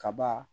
Kaba